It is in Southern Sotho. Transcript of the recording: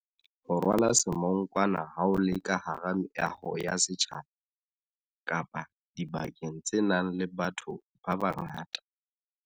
Ho rwala semonkwana ha o le ka hara meaho ya setjhaba kapa dibakeng tse nang le batho babangata.